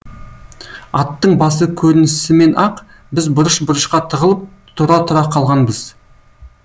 аттың басы көрінісімен ақ біз бұрыш бұрышқа тығылып тұра тұра қалғанбыз